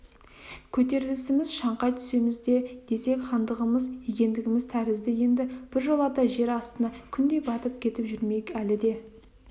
көтерілісіміз шаңқай түсіміз еді десек хандығымыз екіндіміз тәрізді енді біржолата жер астына күндей батып кетіп жүрмейік әлі де